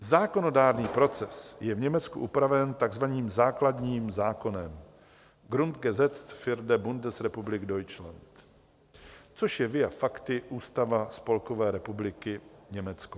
Zákonodárný proces je v Německu upraven tzv. základním zákonem - Grundgesetz für die Bundesrepublik Deutschland, což je via facti Ústava Spolkové republiky Německo.